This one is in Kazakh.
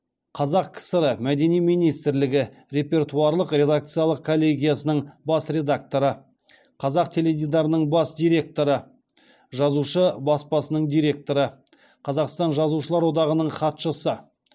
қазақ кср мәдениет министрлігі репертуарлық редакциялық коллегияның бас редакторы қазақ теледидарының бас директоры жазушы баспасының директоры қазақстан жазушылар одағының хатшысы